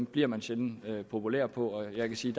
bliver man sjældent populær på og jeg kan sige